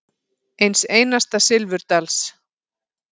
Eins einasta silfurdals.